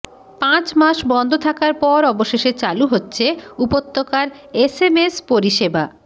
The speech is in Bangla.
পাঁচ মাস বন্ধ থাকার পর অবশেষে চালু হচ্ছে উপত্যকার এসএমএস পরিষেবা